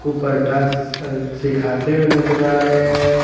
ऊपर डांस अ सिखाते हुए नजर आ रहे हैं।